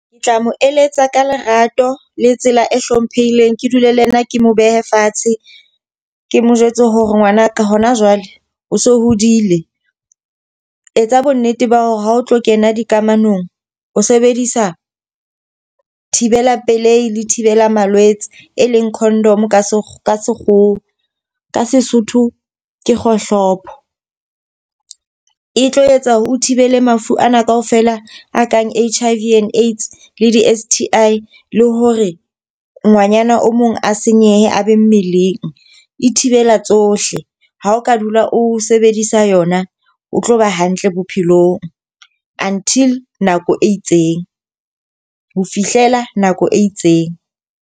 Ke tla mo eletsa ka lerato le tsela e hlomphehileng. Ke dule le yena ke mo behe fatshe, ke mo jwetse hore ngwanaka ho na jwale o se o hodile. Etsa bo nnete ba hore haotlo kena dikamanong, o sebedisa dibela pelehi le thibela malwetse, eleng codom ka sekgowa, ka Sesotho ke kgohlopo. E tlo etsa hore o thibele mafu ana ka ofela a kang H_I_V and AIDS le di-S_T_I, le hore ngwanyana o mong a senyehe a be mmeleng. E thibela tsohle. Ha o ka dula o sebedisa yona, o tlo ba hantle bophelong, until nako e itseng. Ho fihlela nako e itseng.